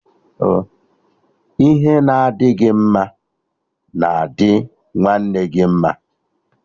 Ihe na adị gị mma na-adi nwanne gị mma